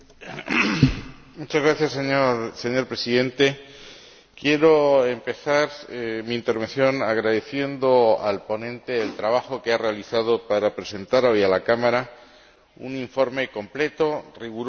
Señor Presidente, quiero empezar mi intervención agradeciendo al ponente el trabajo que ha realizado para presentar hoy a la Cámara un informe completo, riguroso y extraordinariamente oportuno.